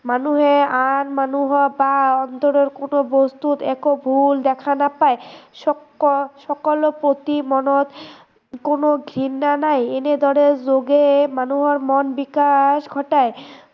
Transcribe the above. মানুহে আন মানুহৰ পৰা অন্তত কোনো বস্তুত একো ভূল দেখা নাপায়, সকলো সকলো প্ৰতি মনত কোনো ঘৃণা নাই, এনেদৰে যোগে মানুহৰ মন বিকাশ ঘটায়